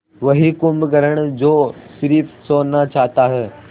वही कुंभकर्ण जो स़िर्फ सोना चाहता है